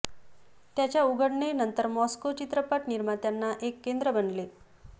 त्याच्या उघडणे नंतर मॉस्को चित्रपट निर्मात्यांना एक केंद्र बनले